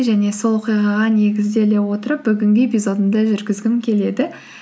және сол оқиғаға негізделе отырып бүгінгі эпизодымды жүргізгім келеді